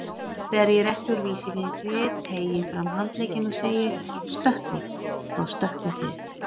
Þegar ég rétti úr vísifingri, teygi fram handlegginn og segi: stökkvið, þá stökkvið þið.